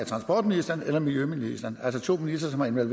transportministeren eller miljøministeren altså to ministre som har været